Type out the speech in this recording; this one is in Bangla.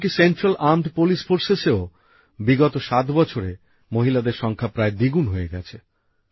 এমন কী কেন্দ্রীয় সশস্ত্র পুলিশ বাহিনীতেও বিগত ৭ বছরে মহিলাদের সংখ্যা প্রায় দিগুণ হয়ে গেছে